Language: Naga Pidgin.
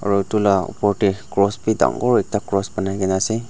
aru utu la opor tey cross pi dangor ekta cross banaikena ase.